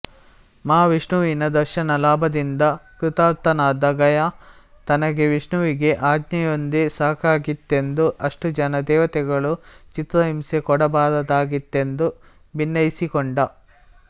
ಮಹಾವಿಷ್ಣುವಿನ ದರ್ಶನ ಲಾಭದಿಂದ ಕೃತಾರ್ಥನಾದ ಗಯ ತನಗೆ ವಿಷ್ಣುವಿನ ಆಜ್ಞೆಯೊಂದೇ ಸಾಕಾಗಿತ್ತೆಂದೂ ಅಷ್ಟು ಜನ ದೇವತೆಗಳು ಚಿತ್ರಹಿಂಸೆ ಕೊಡಬಾರದಾಗಿತ್ತೆಂದು ಭಿನ್ನೈಸಿಕೊಂಡ